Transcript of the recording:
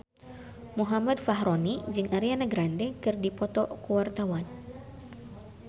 Muhammad Fachroni jeung Ariana Grande keur dipoto ku wartawan